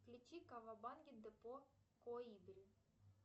включи кавабанги депо коибри